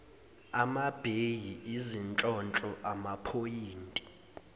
amabheyi izinhlonhlo amaphoyinti